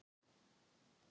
Umferð hefur þó gengið vel.